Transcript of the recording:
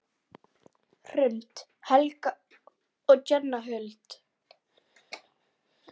Hrund, Helga og Jenna Huld.